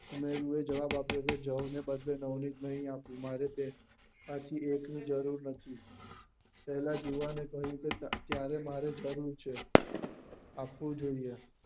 સુનેરી એ જવાબ આપ્યો કે જય જરૂર નથી પેલા જુવાને કહ્યું કે ત્યારે મારે જરૂર છે આપવું જોઈએ